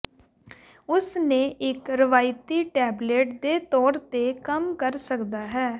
ਉਸ ਨੇ ਇੱਕ ਰਵਾਇਤੀ ਟੈਬਲੇਟ ਦੇ ਤੌਰ ਤੇ ਕੰਮ ਕਰ ਸਕਦਾ ਹੈ